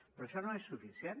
però això no és suficient